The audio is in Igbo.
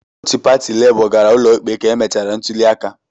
Otu pati Labour gara ụlọikpe ka emechara ntuliaka.